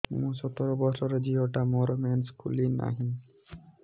ମୁ ସତର ବର୍ଷର ଝିଅ ଟା ମୋର ମେନ୍ସେସ ଖୁଲି ନାହିଁ